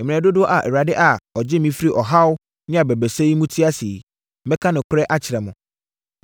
“Mmerɛ dodoɔ a Awurade a ɔgyee me firi ɔhaw ne abɛbrɛsɛ mu te ase yi, mɛka nokorɛ akyerɛ mo.